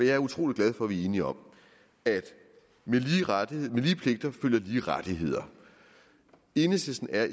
er utrolig glad for at vi er enige om at med lige pligter følger lige rettigheder enhedslisten er